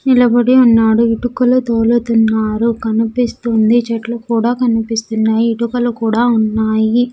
నిలబడి ఉన్నాడు ఇటుకలు తోలుతున్నారు కనిపిస్తుంది చెట్లు కూడా కనిపిస్తున్నాయి ఇటుకలు కూడా ఉన్నాయి.